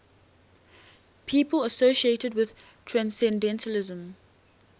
people associated with transcendentalism